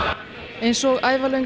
eins og